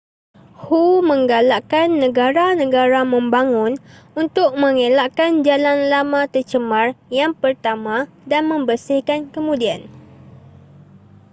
hu menggalakkan negara-negara membangun untuk mengelakkan jalan lama tercemar yang pertama dan membersihkan kemudian